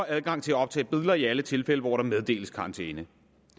adgang til at optage billeder i alle tilfælde hvor der meddeles karantæne